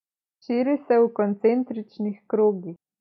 Širi se v koncentričnih krogih.